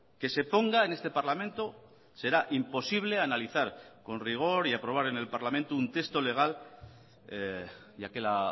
que se ponga en este parlamento será imposible analizar con rigor y aprobar en el parlamento un texto legal ya que la